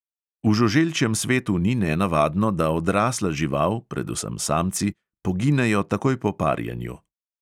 V žuželčjem svetu ni nenavadno, da odrasla žival, predvsem samci, poginejo takoj po parjenju.